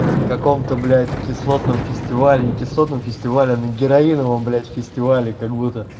в каком-то блять кислотном фестиваль не кислотным фестиваля на героиновым блять фестивале как будто